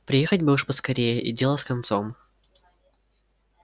приехать бы уж поскорее и дело с концом